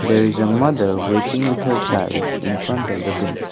there is a mother waiting with her child in front of the building.